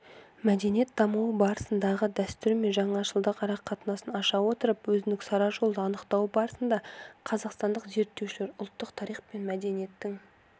мәдениет дамуы барысындағы дәстүр мен жаңашылдық арақатынасын аша отырып өзіндік сара жолды анықтау барысында қазақстандық зерттеушілер ұлттық тарих пен мәдениеттің